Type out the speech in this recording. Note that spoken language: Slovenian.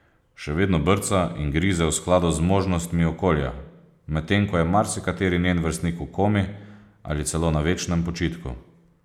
Še vedno brca in grize v skladu z zmožnostmi okolja, medtem ko je marsikateri njen vrstnik v komi ali celo na večnem počitku.